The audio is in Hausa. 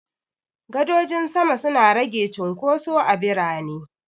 Gadojin sama suna rage cunkoso a birane.